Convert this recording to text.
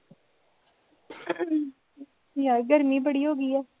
ਯਾਰ ਗਰਮੀ ਬੜੀ ਹੋ ਗਈ ਹੈ